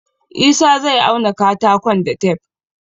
Isah zai auna katakon da tef